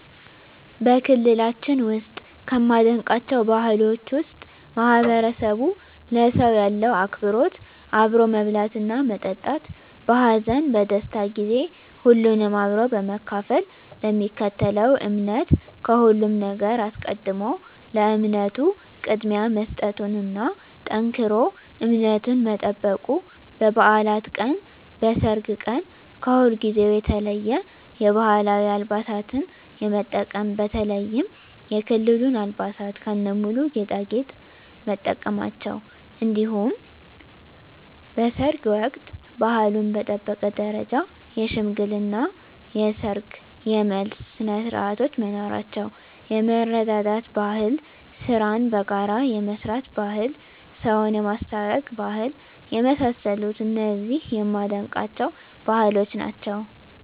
በክልላችን ውስጥ ከማደንቃቸው ባህሎች ውስጥ ማህበረሰቡ ለሰው ያለው አክብሮት አብሮ መብላትና መጠጣት በሀዘን በደስታ ጊዜ ሁሉንም አብሮ በመካፈል ለሚከተለው እምነት ከሁሉም ነገር አስቀድሞ ለእምነቱ ቅድሚያ መስጠቱና ጠንክሮ እምነቱን መጠበቁ በባዕላት ቀን በሰርግ ቀን ከሁልጊዜው የተለየ የባህላዊ አልባሳትን የመጠቀም በተለይም የክልሉን አልባሳት ከነሙሉ ጌጣጌጥ መጠቀማቸው እንዲሁም በሰርግ ወቅት ባህሉን በጠበቀ ደረጃ የሽምግልና የሰርግ የመልስ ስነስርዓቶች መኖራቸው የመረዳዳት ባህል ስራን በጋራ የመስራት ባህል ሰውን የማስታረቅ ባህል የመሳሰሉት እነዚህ የማደንቃቸው ባህሎች ናቸዉ።